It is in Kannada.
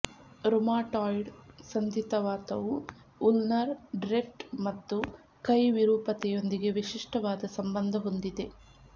ರುಮಾಟಾಯ್ಡ್ ಸಂಧಿವಾತವು ಉಲ್ನರ್ ಡ್ರಿಫ್ಟ್ ಮತ್ತು ಕೈ ವಿರೂಪತೆಯೊಂದಿಗೆ ವಿಶಿಷ್ಟವಾದ ಸಂಬಂಧ ಹೊಂದಿದೆ